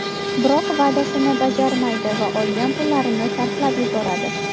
Biroq va’dasini bajarmaydi va olgan pullarini sarflab yuboradi.